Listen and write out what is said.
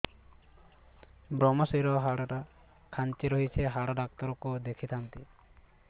ଵ୍ରମଶିର ହାଡ଼ ଟା ଖାନ୍ଚି ରଖିଛି ହାଡ଼ ଡାକ୍ତର କୁ ଦେଖିଥାନ୍ତି